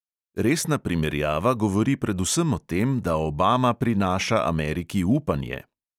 Resna primerjava govori predvsem o tem, da obama prinaša ameriki upanje.